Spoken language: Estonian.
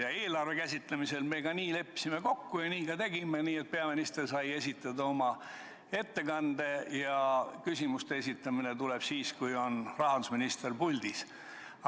Ja eelarve käsitlemisel me leppisime nii kokku ja nii ka tegime – peaminister sai esitada oma ettekande ja küsimusi esitati siis, kui oli rahandusminister puldis.